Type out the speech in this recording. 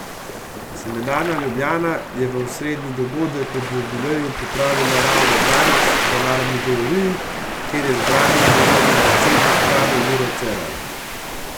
Semenarna Ljubljana je osrednji dogodek ob jubileju pripravila ravno danes v Narodni galeriji, kjer je zbrane nagovoril predsednik vlade Miro Cerar.